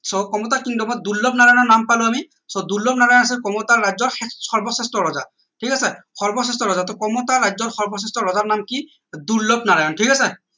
so Kamata kingdom ত দুৰ্লনাৰায়ণৰ নাম পালো আমি so দুৰ্লনাৰায়ণ আছিল কমতা ৰাজ্যৰ সৰ্বশ্ৰেষ্ঠ ৰজা ঠিক আছে সৰ্বশ্ৰেষ্ঠ ৰজা টো কমতা ৰাজ্যৰ সৰ্বশ্ৰেষ্ঠ ৰজাৰ নাম কি দুৰ্লনাৰায়ণৰ ঠিক আছে